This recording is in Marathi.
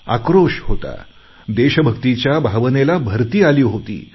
आक्रोश होता देशभक्तीच्या भावनेला भरती आली होती